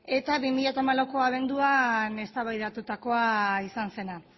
eta bi mila hamalauko abenduan eztabaidatutakoa izan zena